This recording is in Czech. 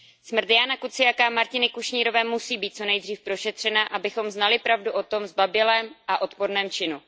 Smrt Jána Kuciaka a Martiny Kušnírové musí být co nejdříve prošetřena, abychom znali pravdu o tomto zbabělém a odporném činu.